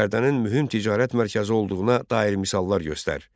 Bərdənin mühüm ticarət mərkəzi olduğuna dair misallar göstər.